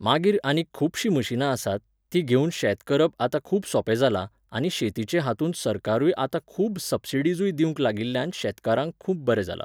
मागीर आनीक खुबशीं मशिनां आसात, तीं घेवून शेत करप आतां खूब सोंपे जालां आनी शेतीचे हातूंत सरकारूय आतां खूब सब्सिडिजूय दिवूंक लागिल्ल्यान शेतकारांक खूब बरें जालां.